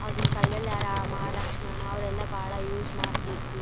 ಆಗಿನ್ ಕಾಲದಲ್ಲಿ ರಾಮ ಲಕ್ಷ್ಮಣ ಅವ್ರೆಲ್ಲ ಬಹಳ ಯೂಸ್ ಮಾಡ್ತಿದ್ರು.